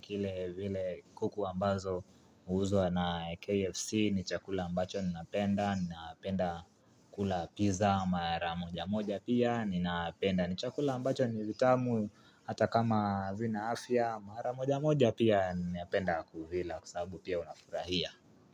kile vile kuku ambazo huuzwa na KFC, ni chakula ambacho ninapenda, ninapenda kula pizza mara moja moja pia ninapenda. Ni chakula ambacho ni vitamu hata kama havina afya mara moja moja pia ninapenda kuvila kwa sababu pia unafurahia.